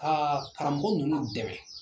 A karamɔgɔ ninnu dɛmɛ